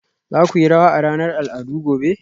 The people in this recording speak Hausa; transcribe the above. za ku yi rawa a ranar al'adu gobe